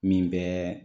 Min bɛ